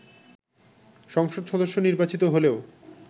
সংসদ সদস্য নির্বাচিত হলেও